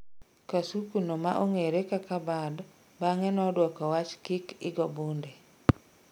kasuko no ma ong'ere kaka Bud, bang'e noduoko wach "kik igo bunde"